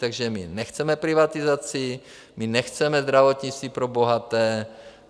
Takže my nechceme privatizaci, my nechceme zdravotnictví pro bohaté.